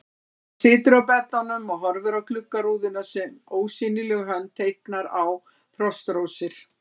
Hann situr á beddanum og horfir á gluggarúðuna sem ósýnileg hönd teiknar á frostrósir.